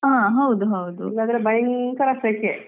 ಇಲ್ಲದಿದ್ರೆ ಭಯಂಕರ ಸೆಕೆ ಹ್ಮ್ ಹಾಗೆ